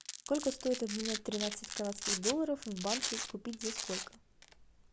сколько стоит обменять тринадцать канадских долларов в банке купить за сколько